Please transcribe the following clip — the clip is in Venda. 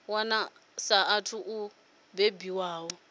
wana a saathu u bebiwaho